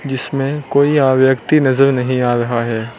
जिसमें कोई व्यक्ति नजर नहीं आ रहा है।